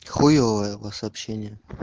хуёвое у вас общение